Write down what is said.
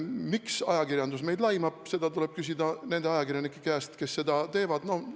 Miks ajakirjandus meid laimab, seda tuleb küsida nende ajakirjanike käest, kes seda teevad.